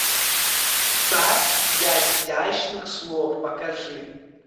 сад изящных слов покажи